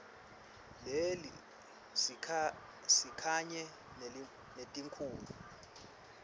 leli sikanye netikhulu